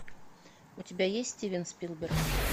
у тебя есть стивен спилберг